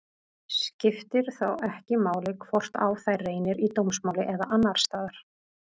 Skiptir þá ekki máli hvort á þær reynir í dómsmáli eða annars staðar.